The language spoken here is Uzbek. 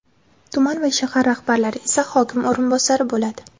tuman va shahar rahbarlari esa hokim o‘rinbosari bo‘ladi.